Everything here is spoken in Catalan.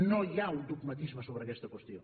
no hi ha un dogmatisme sobre aquesta qüestió